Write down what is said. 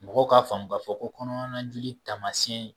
Mɔgɔ k'a faamu ka fɔ ko kɔnɔna joli tamasiyɛn ye